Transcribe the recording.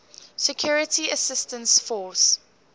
security assistance force